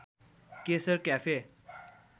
Keshar cafe